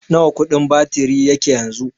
Nawa kudin batiri yake yanzu?